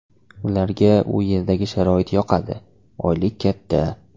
Ularga u yerdagi sharoit yoqadi, oylik katta.